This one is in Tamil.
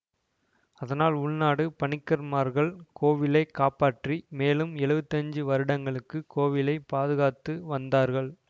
அதனால் உள்ளநாடு பணிக்கர்மார்கள் கோவிலை காப்பாற்றி மேலும் எழுவத்தி ஆஞ்சு வருடங்களுக்கு கோவிலை பாதுகாத்து வந்தார்கள்